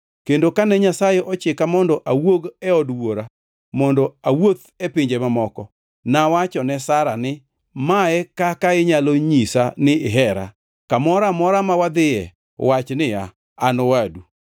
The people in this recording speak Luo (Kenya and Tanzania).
Kendo kane Nyasaye ochika mondo awuog e od wuora mondo awuoth e pinje mamoko, nawachone Sara ni, ‘Mae kaka inyalo nyisa ni ihera: Kamoro amora ma wadhiye wach niya, “An owadu.” ’”